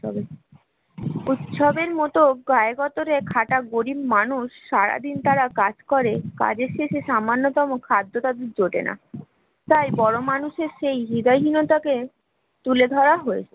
উৎসবের মতো গরিব মানুষ সারাদিন তারা কাজ করে কাজের শেষে সামান্যতম খাদ্য তাদের জোটে না তাই বড় মানুষের সেই হৃদয়হীনতা কে তুলে ধরা হয়েছে